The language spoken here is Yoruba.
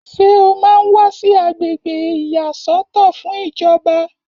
Ṣé o máa ń wà sí agbègbè ìyàsọ́tọ̀ fún ìjọba?